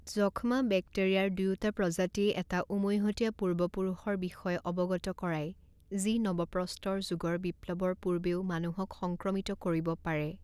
যক্ষ্মা বেক্টেৰিয়াৰ দুয়োটা প্ৰজাতিয়ে এটা উমৈহতীয়া পূৰ্বপুৰুষৰ বিষয়ে অৱগত কৰায়, যি নৱপ্ৰস্তৰ যুগৰ বিপ্লৱৰ পূৰ্বেও মানুহক সংক্ৰমিত কৰিব পাৰে।